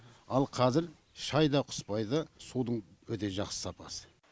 ал қазір шәй да құспайды судың өте жақсы сапасы